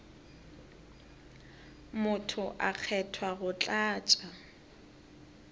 motho a kgethwa go tlatša